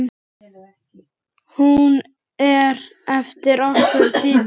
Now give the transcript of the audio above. Hún er eftir okkur Dídí.